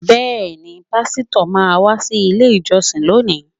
Bẹẹni pásítọ̀ máa wá sile ìjọsìn lónìí